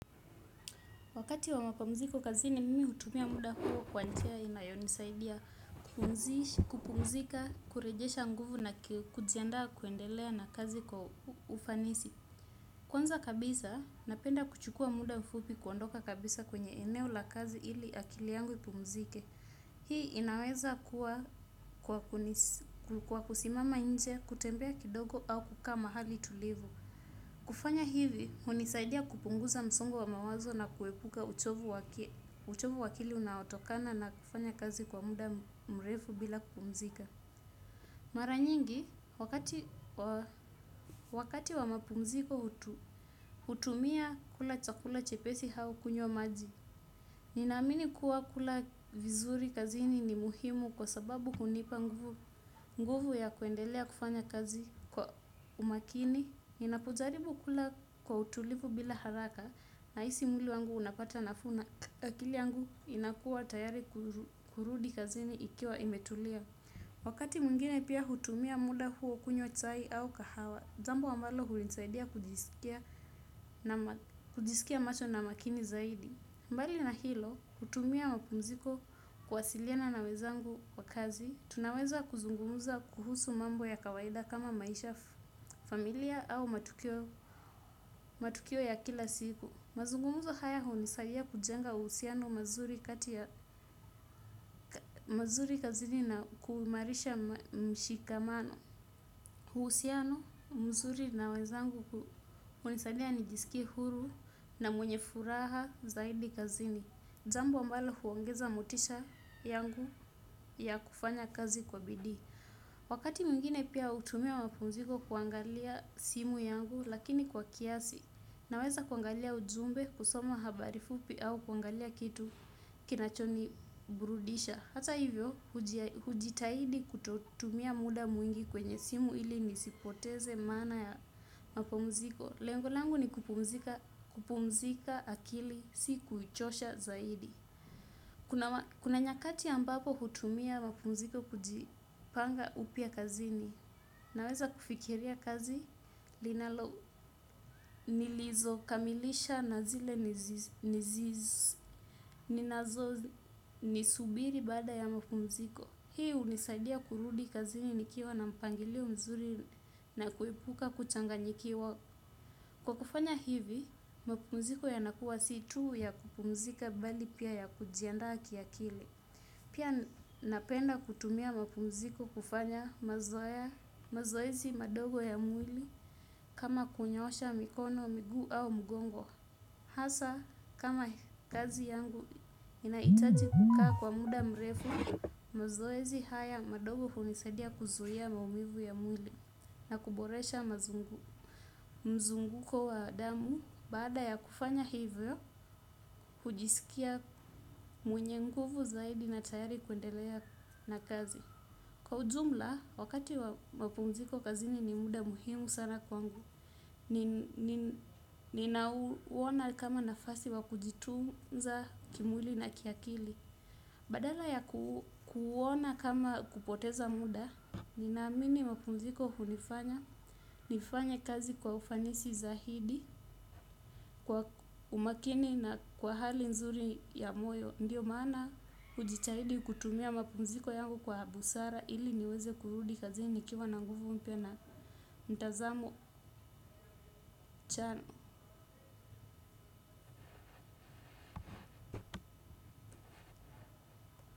Wakati wa mapumziko kazini mimi hutumia muda huo kwa njia inayonisaidia kupumzika, kurejesha nguvu na kujiandaa kuendelea na kazi kwa ufanisi. Kwanza kabisa, napenda kuchukua muda mfupi kuondoka kabisa kwenye eneo la kazi ili akili yangu ipumzike. Hii inaweza kuwa kwa kusimama nje, kutembea kidogo au kukaa mahali tulivu. Kufanya hivi, hunisaidia kupunguza msongo wa mawazo na kuepuka uchovu wa akili unaotokana na kufanya kazi kwa muda mrefu bila kupumzika. Mara nyingi, wakati wa mapumziko, hutumia kula chakula chepesi au kunywa maji. Ninaamini kuwa kula vizuri kazini ni muhimu kwa sababu hunipa nguvu ya kuendelea kufanya kazi kwa umakini. Ninapojaribu kula kwa utulivu bila haraka nahisi mwili wangu unapata nafuu na akili yangu inakuwa tayari kurudi kazini ikiwa imetulia. Wakati mwingine pia hutumia muda huo kunywa chai au kahawa. Jambo ambalo hunisaidia kujiskia macho na makini zaidi. Mbali na hilo, hutumia mapumziko kuwasiliana na wenzangu wa kazi, tunaweza kuzungumza kuhusu mambo ya kawaida kama maisha, familia au matukio ya kila siku. Mazungumzo haya hunisaidia kujenga uhusiano mzuri kati ya mazuri kazini na kuimarisha mshikamano. Uhusiano, mzuri na wenzangu hunisaidia nijiskie huru na mwenye furaha zaidi kazini. Jambo ambalo huongeza motisha yangu ya kufanya kazi kwa bidii. Wakati mwingine pia hutumia mapumziko kuangalia simu yangu lakini kwa kiasi. Naweza kuangalia ujumbe kusoma habari fupi au kuangalia kitu kinachoniburudisha. Hata hivyo hujitahidi kutotumia muda mwingi kwenye simu ili nisipoteze maana ya mapumziko. Lengo langu ni kupumzika akili si kuchosha zaidi. Kuna nyakati ambapo hutumia mapumziko kujipanga upya kazini, naweza kufikiria kazi linalo nilizokamilisha na zile, zinazonisubiri baada ya mapumziko. Hii hunisaidia kurudi kazini nikiwa na mpangilio mzuri na kuepuka kuchanganyikiwa. Kwa kufanya hivi, mapumziko yanakuwa si tuu ya kupumzika bali pia ya kujiandaa kiakili. Pia napenda kutumia mapumziko kufanya mazoezi madogo ya mwili kama kunyoosha mikono, miguu au mgongo. Hasa kama kazi yangu inahitaji kukaa kwa muda mrefu, mazoezi haya madogo hunisaidia kuzuia maumivu ya mwili na kuboresha mazungu. Mzunguko wa damu, baada ya kufanya hivyo, hujiskia mwenye nguvu zaidi na tayari kuendelea na kazi. Kwa ujumla, wakati wa mapumziko kazini ni muda muhimu sana kwangu. Ninauona kama nafasi wa kujitunza kimwili na kiakili. Badala ya kuona kama kupoteza muda, ninaamini mapumziko hunifanya. Nifanye kazi kwa ufanisi zaidi, kwa umakini na kwa hali nzuri ya moyo. Ndiyo maana hujitahidi kutumia mapumziko yangu kwa busara ili niweze kurudi kazini nikiwa na nguvu mpya na mtazamo chanya.